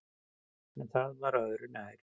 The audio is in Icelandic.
En það var öðru nær.